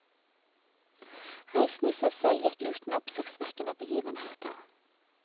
Reisen i seg selv gikk uten oppsiktsvekkende begivenheter.